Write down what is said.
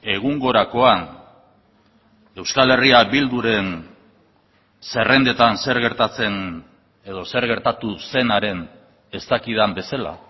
egungorakoan euskal herria bilduren zerrendetan zer gertatzen edo zer gertatu zenaren ez dakidan bezala